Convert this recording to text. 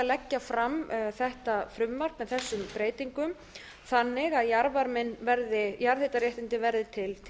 leggja fram þetta frumvarp með þessum breytingum þannig að jarðhitaréttindin verði til